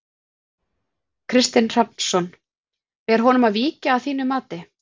Kristinn Hrafnsson: Ber honum að víkja að þínu mati?